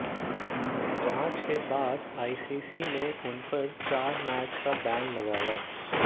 जांच के बाद आईसीसी ने उनपर चार मैच का बैन लगाया है